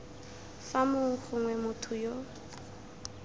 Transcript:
fa mong gongwe motho yo